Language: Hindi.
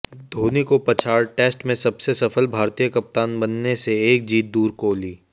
धोनी को पछाड़ टेस्ट में सबसे सफल भारतीय कप्तान बनने से एक जीत दूर कोहली